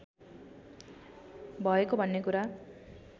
भएको भन्ने कुरा